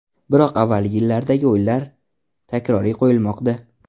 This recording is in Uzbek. Biroq avvalgi yillardagi o‘yinlar takroriy qo‘yilmoqda.